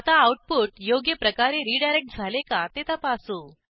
आता आऊटपुट योग्य प्रकारे रीडायरेक्ट झाले का ते तपासू